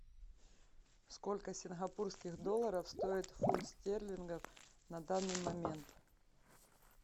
сколько сингапурских долларов стоит фунт стерлингов на данный момент